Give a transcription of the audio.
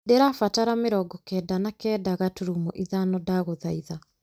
ndĩrabatara mĩrongo kenda na kenda gaturumo ithano ndagũthaitha